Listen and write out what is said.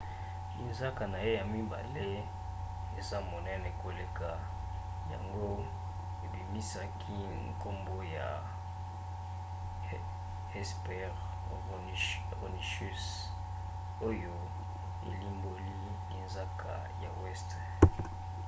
linzaka na ye ya mibale eza monene koleka yango ebimisaki nkombo ya hesperonychus oyo elimboli linzaka ya weste.